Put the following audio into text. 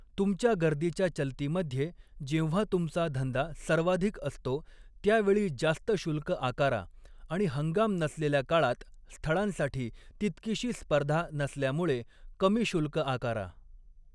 तुमच्या गर्दीच्या चलतीमध्ये, जेव्हा तुमचा धंदा सर्वाधिक असतो त्यावेळी जास्त शुल्क आकारा आणि हंगाम नसलेल्या काळात स्थळांसाठी तितकीशी स्पर्धा नसल्यामुळे कमी शुल्क आकारा.